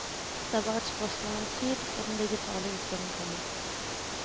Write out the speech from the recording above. Det et bare et spørsmål om tid før den digitale utgaven kommer.